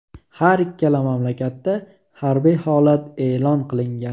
Har ikkala mamlakatda harbiy holat e’lon qilingan .